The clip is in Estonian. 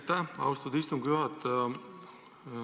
Aitäh, austatud istungi juhataja!